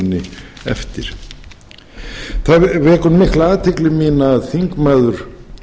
vinni eftir það vekur mikla athygli mína að þingmaður